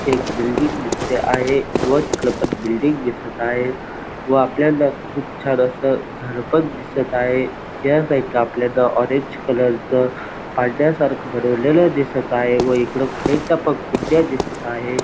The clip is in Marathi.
एक बिल्डिंग दिसते आहे व तिकडं पण बिल्डिंग दिसत आहे व आपल्याला खूप सार असं झाडं पण दिसत आहे या साईड ला आपल्याला ऑरेंज कलरच पांढऱ्या सारख बनवलेलं दिसत आहे व इकडं साईड ला पण कुंड्या दिसत आहे.